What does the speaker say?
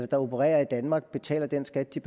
der opererer i danmark betaler den skat de